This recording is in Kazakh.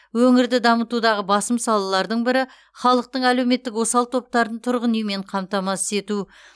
өңірді дамытудағы басым салалардың бірі халықтың әлеуметтік осал топтарын тұрғын үймен қамтамасыз ету